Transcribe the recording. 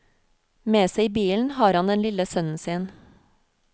Med seg i bilen har han den lille sønnen sin.